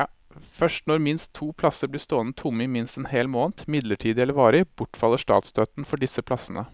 Først når minst to plasser blir stående tomme i minst en hel måned, midlertidig eller varig, bortfaller statsstøtten for disse plassene.